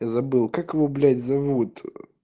я забыл как его блять зовут